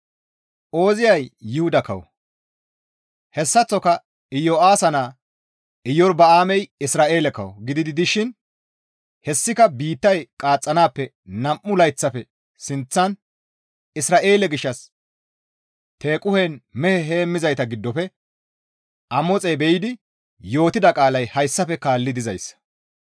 Ooziyay Yuhuda kawo; hessaththoka Iyo7aasa naa Iyorba7aamey Isra7eele kawo gidi dishin hessika biittay qaaxxanaappe nam7u layththafe sinththan Isra7eele gishshas Tequhen mehe heemmizayta giddofe Amoxey be7idi yootida qaalay hayssafe kaalli dizayssa;